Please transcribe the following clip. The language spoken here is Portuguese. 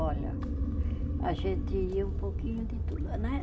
Olha, a gente ia um pouquinho de tudo, né?